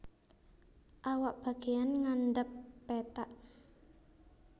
Awak bagéyan ngandhap pethak